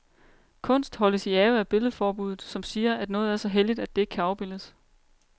Kunst holdes i ave af billedforbudet, som siger, at noget er så helligt, at det ikke kan afbildes.